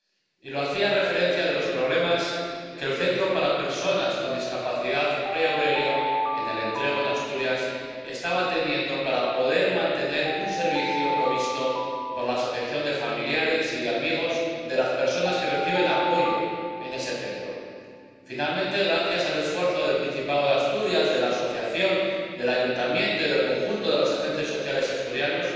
Y lo hacía en referencia a los problemas que el Centro para Personas con Discapacidad Rey Aurelio, en El Entrego, en Asturias, estaba teniendo para poder mantener un servicio provisto por la asociación de familiares y amigos de las personas que reciben apoyo en ese Centro. Finalmente, gracias al esfuerzo del Principado de Asturias, de la asociación, del Ayuntamiento y del conjunto de los agentes sociales asturianos,